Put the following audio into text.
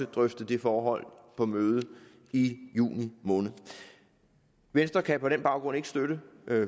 drøfte det forhold på mødet i juni måned venstre kan på den baggrund ikke støtte